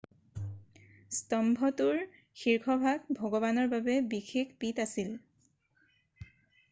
স্তম্ভটোৰ শীৰ্ষভাগ ভগৱানৰ বাবে বিশেষ পীঠ আছিল